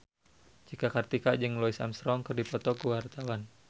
Cika Kartika jeung Louis Armstrong keur dipoto ku wartawan